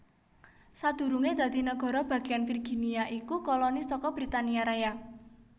Sadurungé dadi nagara bagéyan Virginia iku koloni saka Britania Raya